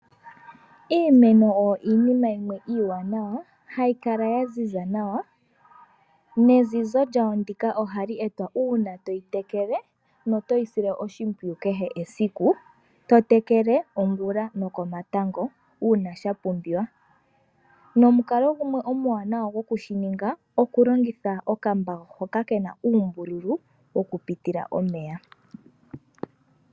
Iimeno oyo iinima yimwe iiwanawa hayi kala ya ziza nawa, nezizo lyawo ndika ohali etwa uuna toyi tekele notoyi sile oshimpwiyu kehe esiku. To tekele ongula nokomatango uuna sha pumbiwa. Nomukalo gumwe omuwanawa go kushi ninga, okulongitha okambawo hoka kena uumbululu wokupitila omeya.